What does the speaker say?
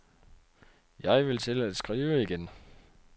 Jeg vil til at skrive igen.